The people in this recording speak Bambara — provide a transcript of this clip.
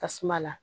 Tasuma la